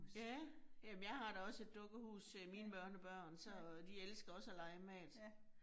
Ja. Jamen jeg har da også et dukkehus øh mine børnebørn, så de elsker også at lege med det